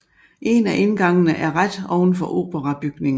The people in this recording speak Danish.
En af indgangene er ret ovenfor operabygningen